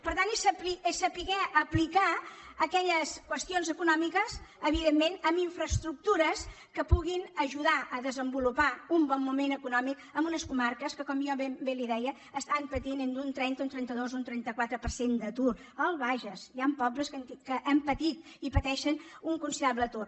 per tant és saber aplicar aquelles qüestions econòmiques evidentment en infraestructures que puguin ajudar a desenvolupar un bon moment econòmic en unes comarques que com jo bé li deia estan patint entre un trenta un trenta dos o un trenta quatre per cent d’atur al bages hi ha pobles que han patit i pateixen un considerable atur